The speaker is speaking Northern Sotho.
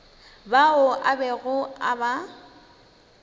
bao a bego a ba